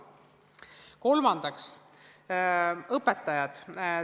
Kolmandaks, õpetajad.